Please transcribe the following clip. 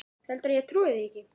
Heldurðu að ég trúi því ekki?